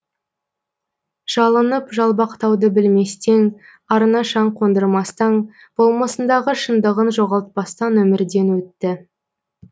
жалынып жалбақтауды білместен арына шаң қондырмастан болмысындағы шындығын жоғалтпастан өмірден өтті